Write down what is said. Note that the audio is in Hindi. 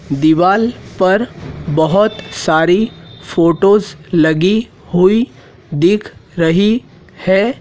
दीवाल पर बहोत सारी फोटोज लगी हुई दिख रही है।